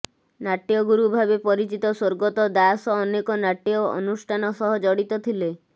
ନାଟ୍ୟଗୁରୁ ଭାବେ ପରିଚିତ ସ୍ୱର୍ଗତଃ ଦାସ ଅନେକ ନାଟ୍ୟ ଅନୁଷ୍ଠାନ ସହ ଜଡିତ ଥିଲେ